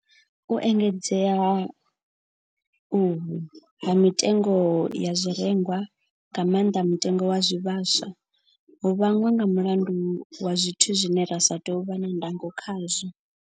U engedzea ha uhu ha mitengo ya zwirengwa, nga maanḓa mutengo wa zwivhaswa, ho vhangwa nga mulandu wa zwithu zwine ra sa tou vha na ndango khazwo.